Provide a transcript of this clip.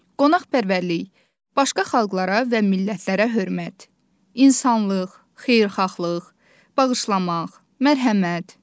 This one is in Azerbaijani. Qonaqpərvərlik, başqa xalqlara və millətlərə hörmət, insanlıq, xeyirxahlıq, bağışlamaq, mərhəmət.